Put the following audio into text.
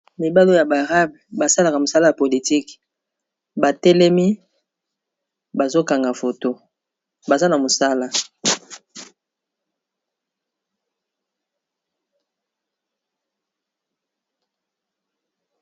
Mibali oyo ya b'arabe basalaka mosala ya politique batelemi bazokanga foto baza na mosala.